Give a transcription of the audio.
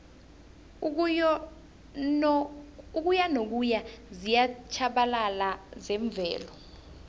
ukuyanokuya ziyatjhabalala zemvelo